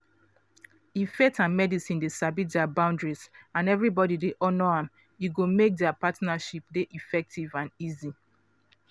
if faith and medicine dey sabi dia boundaries and everybody dey honour am e go make dia partnership dey effective and easy.